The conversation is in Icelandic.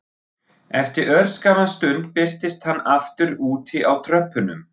Eftir örskamma stund birtist hann aftur úti á tröppunum